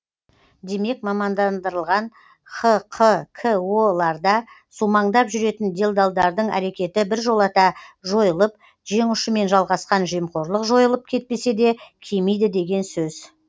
демек мамандандырылған хқко ларда сумаңдап жүретін делдалдардың әрекеті біржолата жойылып жеңұшымен жалғасқан жемқорлық жойылып кетпесе де кемиді деген сөз